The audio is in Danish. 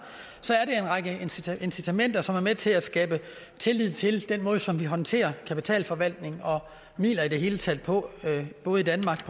tiltag incitamenter som er med til at skabe tillid til den måde som vi håndterer kapitalforvaltning og midler i hele taget på både i danmark